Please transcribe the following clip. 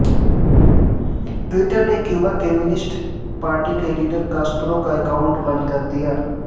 Twitter نے Cuba communist party کےلیڈر Castro کا اکاونٹ بند کردیا